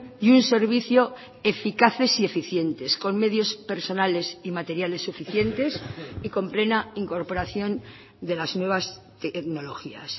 y un servicio eficaces y eficientes con medios personales y materiales suficientes y con plena incorporación de las nuevas tecnologías